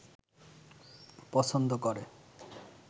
পছন্দ করে